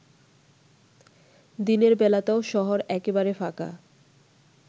দিনের বেলাতেও শহর একেবারে ফাঁকা।